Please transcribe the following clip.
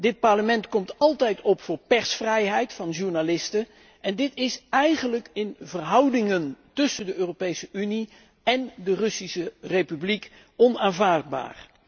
Dit Parlement komt altijd op voor de persvrijheid van journalisten en dit is eigenlijk in de verhoudingen tussen de Europese Unie en de Russische Republiek onaanvaardbaar.